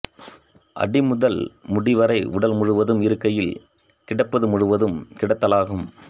அடி முதல் முடி வரை உடல் முழுவதும் இருக்கையில் கிடப்பது முழுதும் கிடத்தலாகும்